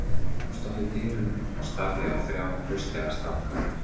Hún stóð í dyrunum og starði á þrjá hraustlega stráka.